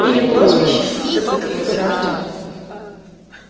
или прозвище допытывался артем